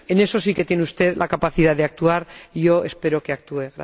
En eso sí que tiene usted la capacidad de actuar y yo espero que actúe.